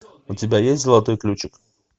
у тебя есть золотой ключик